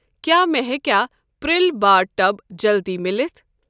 کیٛاہ مےٚ ہیٚکیٛاہ پرٛل بار ٹب جلدِی مِلِتھ؟